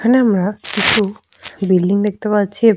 Bike এবং cycle রাখা আছে।